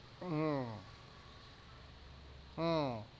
হম হম